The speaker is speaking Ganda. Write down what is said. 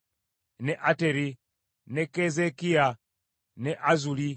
ne Ateri, ne Keezeekiya, ne Azzuli,